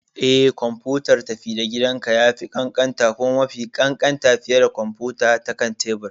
Eh, kwamfutar tafi-da-gidanka ya fi ƙanƙanta kuma mafi ƙanƙanta fiye da kwamfuta ta kan tebur.